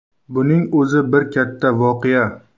Buning o‘zi bir katta voqea.